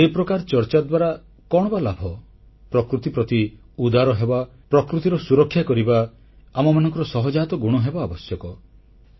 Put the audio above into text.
କିନ୍ତୁ ଏ ପ୍ରକାର ଚର୍ଚ୍ଚା ଦ୍ୱାରା କଣ ବା ଲାଭ ପ୍ରକୃତି ପ୍ରତି ଉଦାର ହେବା ପ୍ରକୃତିର ସୁରକ୍ଷା କରିବା ଆମମାନଙ୍କର ସହଜାତ ଗୁଣ ହେବା ଆବଶ୍ୟକ